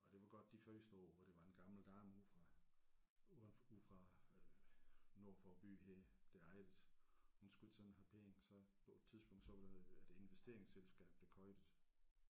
Og det var godt de første år hvor det var en gammel dame ude fra ude ude fra øh nord for byen her der ejede det hun skulle ikke sådan have penge så på et tidspunkt så var der et investeringsselskab der købte det